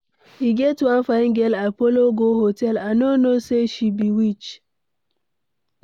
E get one fine girl I follow go hotel, I no know say she be witch.